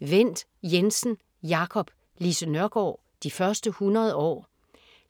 Wendt Jensen, Jacob: Lise Nørgaard: de første 100 år